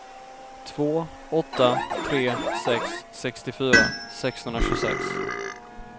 två åtta tre sex sextiofyra sexhundratjugosex